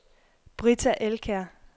Britta Elkjær